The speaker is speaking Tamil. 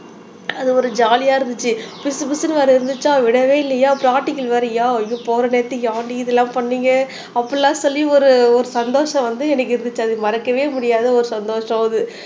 அது ஒரு ஜாலியா இருந்துச்சு பிசு பிசுன்னு வேற இருந்துச்சா விடவே இல்லையா பிராக்டிக்கல் வேறயா ஐயோ போற நேரத்துல ஏன்டி இதெல்லாம் பண்ணீங்க அப்படி எல்லாம் சொல்லி ஒரு ஒரு சந்தோஷம் வந்து எனக்கு இருந்துச்சு அத மறக்கவே முடியாத ஒரு சந்தோஷம் அது